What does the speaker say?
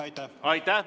Aitäh!